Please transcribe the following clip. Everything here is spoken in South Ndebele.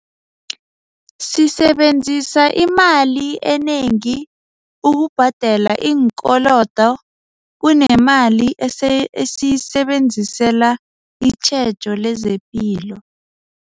Sisebenzisa imali enengi ukubhadela iinkolodo kunemali esiyisebenzisela itjhejo lezepilo.